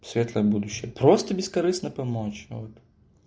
светлое будущее просто бескорыстно помочь вот